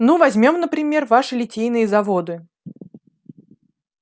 ну возьмём например ваши литейные заводы